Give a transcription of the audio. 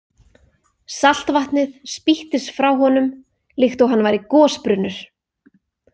Saltvatnið spýttist frá honum líkt og hann væri gosbrunnur.